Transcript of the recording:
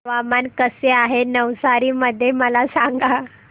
हवामान कसे आहे नवसारी मध्ये मला सांगा